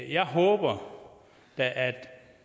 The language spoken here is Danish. jeg håber da at